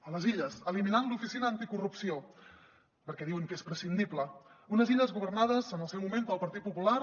a les illes eliminant l’oficina anticorrupció perquè diuen que és prescindible unes illes governades en el seu moment pel partit popular